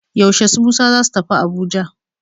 Yaushe su Musa za su tafi Abuja?